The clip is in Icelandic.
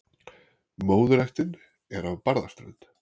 Móðurættin er af Barðaströnd.